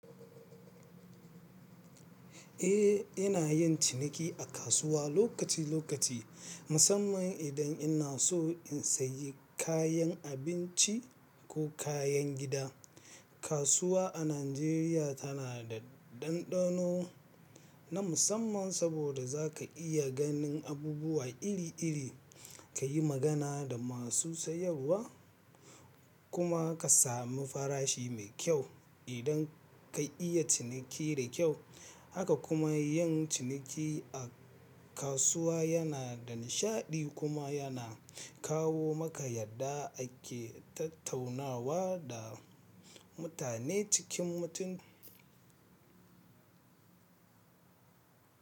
Eh, ina yin ciniki a kasuwa lokaci lokaci, musamman idan ina so in sayi kayan abinci ko kayan gida. Kasuwa a Najeriya tana da ɗanɗano na musamman saboda za ka iya ganin abubuwa iri iri, ka yi magana da masu sayarwa kuma ka sami farashi mai kyau idan ka yi ciniki da kyau. Haka kuma yin ciniki a kasuwa yana da nishaɗi kuma yana kawo maka yarda ake tattaunawa da mutane cikin mutum.